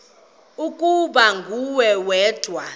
ukuba nguwe wedwa